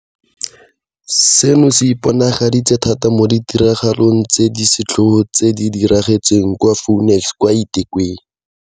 Seno se iponagaditse thata mo ditiragalong tse di setlhogo tse di diragetseng kwa Phoenix kwa eThekwini.